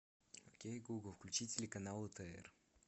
окей гугл включи телеканал отр